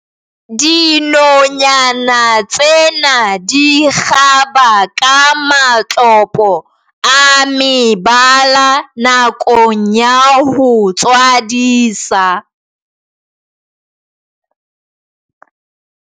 dinonyana tsena di kgaba ka matlopo a mebala nakong ya ho tswadisa